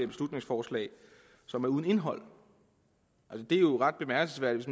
beslutningsforslag som er uden indhold det er jo ret bemærkelsesværdigt